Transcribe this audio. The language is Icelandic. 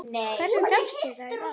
Hvernig tókst það í verki?